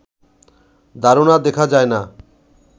ধারণা দেখা যায় না